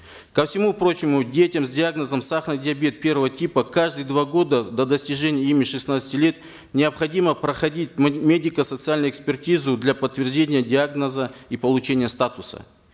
ко всему прочему детям с диагнозом сахарный диабет первого типа каждые два года до достижения ими шестнадцати лет необходимо проходить медико социальную экспертизу для подтверждения диагноза и получения статуса